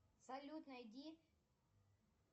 салют найди